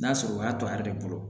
N'a sɔrɔ o y'a to a yɛrɛ de bolo